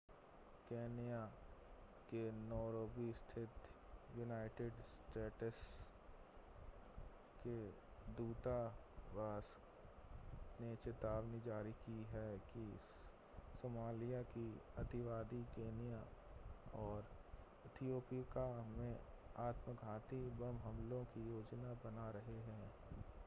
Kenya के Nairobi स्थित United States के दूतावास ने चेतावनी जारी की है कि सोमालिया के अतिवादी केन्या और इथियोपिया में आत्मघाती बम हमलों की योजना बना रहे हैं